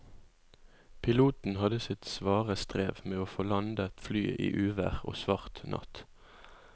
Piloten hadde sitt svare strev med å få landet flyet i uvær og svart natt.